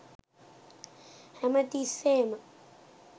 හැම තිස්සේම